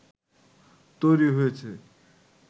তৈরি হয়েছে